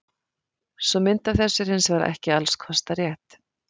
Sú mynd af þessu er hins vegar ekki alls kostar rétt.